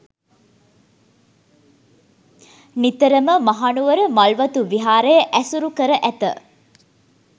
නිතරම මහනුවර මල්වතු විහාරය ඇසුරු කර ඇත.